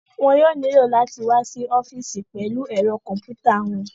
Wọn yóò nílò láti wá sí ọ́fìsì pẹ̀lú ẹ̀rọ kọ̀m̀pútà wọn